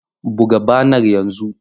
Buga banar yanzu!